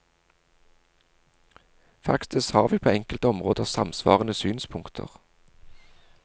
Faktisk har vi på enkelte områder samsvarende synspunkter.